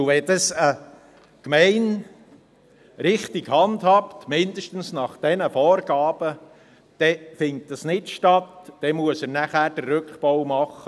Und wenn dies eine Gemeinde richtig handhabt – mindestens nach diesen Vorgaben –, dann findet dies nicht statt, dann muss er nachher den Rückbau machen.